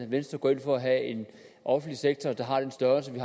venstre går ind for at have en offentlig sektor der har den størrelse vi